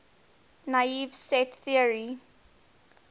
naive set theory